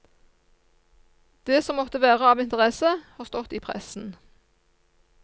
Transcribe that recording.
Det som måtte være av interesse har stått i pressen.